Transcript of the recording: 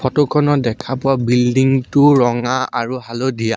ফটোখনত দেখা পোৱা বিল্ডিংটো ৰঙা আৰু হালধীয়া।